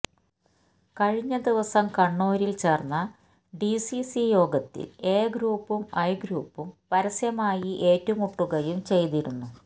കഴിഞ്ഞ ദിവസം കണ്ണൂരില് ചേര്ന്ന ഡിസിസി യോഗത്തില് എ ഗ്രൂപ്പും ഐ ഗ്രൂപ്പും പരസ്യമായി ഏറ്റുമുട്ടുകയും ചെയ്തിരുന്നു